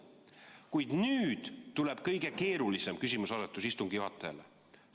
Kuid nüüd tuleb kõige keerulisem küsimuseasetus istungi juhatajale.